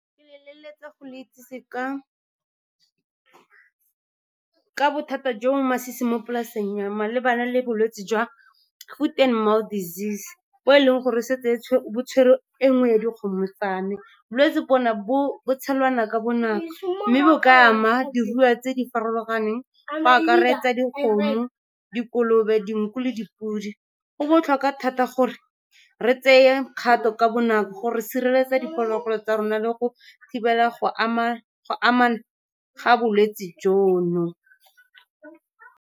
Ke leletsa go le itsese ka bothata jo bo masisi mo polaseng ya me malebana le bolwetse jwa foot and mouth disease, bo e leng gore setse bo tshwerwe e nngwe ya dikgomo tsa me. Bolwetse bo tshelana ka bonako, mme go ka ama diruiwa tse di farologaneng, go akaretsa dikgomo, dikolobe, dinku le dipodi. Go botlhokwa thata gore re tseye kgato ka bonako gore re sireletse diphologolo tsa rona le go thibela go ga bolwetse jono.